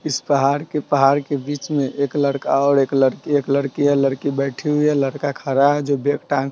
इस पहाड़ के पहाड़ के बीच मे एक लड़का और एक लड़की एक लड़की है लड़की बैठी हुई है लड़का खड़ा है जो बैग टांग --